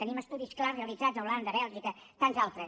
tenim estudis clars realitzats a holanda a bèlgica i tants altres